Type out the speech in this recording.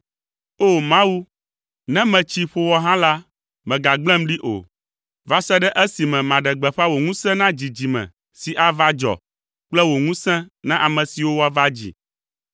O! Mawu, ne metsi, ƒo wɔ hã la, mègagblẽm ɖi o, va se ɖe esime maɖe gbeƒã wò ŋusẽ na dzidzime si ava dzɔ kple wò ŋusẽ na ame siwo woava dzi.